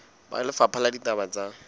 ba lefapha la ditaba tsa